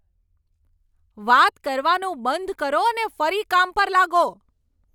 વાત કરવાનું બંધ કરો અને ફરી કામ પર લાગો.